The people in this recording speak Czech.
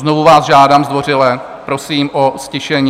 Znovu vás žádám zdvořile, prosím o ztišení.